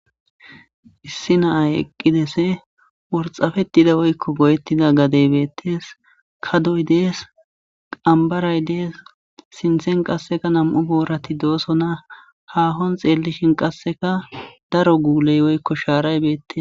Issi naay eqqidese worxafettida woykko goyettida gadey beettees ka doy dees qambaray dees sinthen qasseka nam'u boorati dooso na haahon xeellishin qasseka daro guuley woykko shaaray beettes.